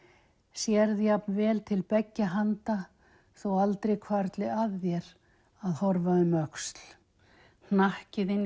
sérð jafnvel til beggja handa þó aldrei hvarfli að þér að horfa um öxl hnakki þinn